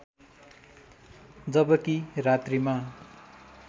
जबकि रात्रिमा